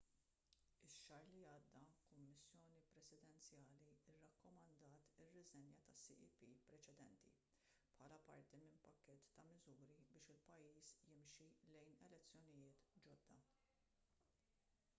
ix-xahar li għadda kummissjoni presidenzjali rrakkomandat ir-riżenja tas-cep preċedenti bħala parti minn pakkett ta' miżuri biex il-pajjiż jimxi lejn elezzjonijiet ġodda